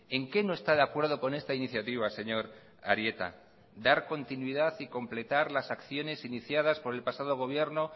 en qué no está de acuerdo con esta iniciativa señor arieta dar continuidad y completar las acciones iniciadas por el pasado gobierno